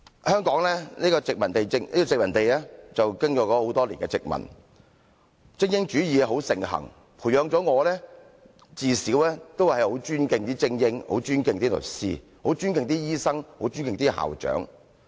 香港經過很多年的殖民統治，精英主義盛行，培養我自小很尊敬精英、很尊敬律師、很尊敬醫生、很尊敬校長。